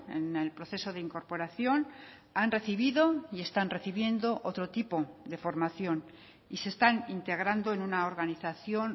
en el proceso de incorporación han recibido y están recibiendo otro tipo de formación y se están integrando en una organización